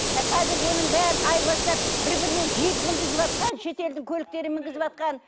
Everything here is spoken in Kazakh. ы қазір оның бәрін айырбастап бір біріне джип мінгізіватқан шетелдің көліктерін мінгізіватқан